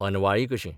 अनवाळी कशी.